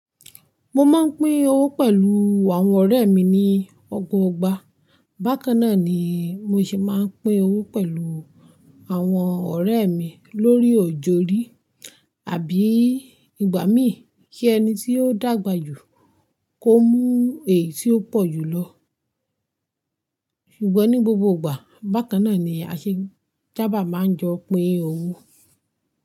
Mo máa ń pín owó pẹ̀lú àwọn ọ̀rẹ́ mi ní ọgbọọgba. Bákan náà ni mo ṣe máa ń pín owó pẹ̀lú àwọn ọ̀rẹ́ mi lórí o òju rí àbí ìgbà mí kí ẹni tí ó dàgbà jù kó mú èyí tí ó pọ̀ jù lọ. Ṣùgbọ́n ní gbogbo ìgbà, bákan náà ni aṣe sábà máa ń jọ pín owó.